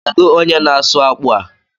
Kedu onye na-asụ akpụ a?